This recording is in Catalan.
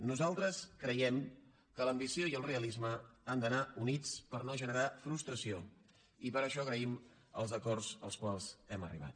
nosaltres creiem que l’ambició i el realisme han d’anar units per no generar frustració i per això agraïm els acords als quals hem arribat